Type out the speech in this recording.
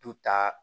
Du ta